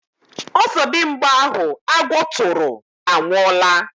Ọzọdimgba ahụ agwọ tụrụ anwụọla